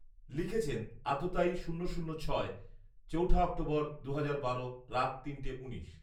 লিখেছেন আততায়ী শূন্য শূন্য ছয়, চৌঠা অক্টোবর, দুহাজার বারো রাত তিনটে উনিশ